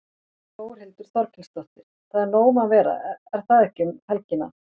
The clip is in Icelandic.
Þórhildur Þorkelsdóttir: Það er nóg um að vera er það ekki um helgina?